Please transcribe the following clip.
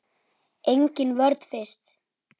Engin vörn finnst.